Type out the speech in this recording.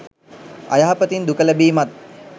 අයහපතින් දුක ලැබීමත්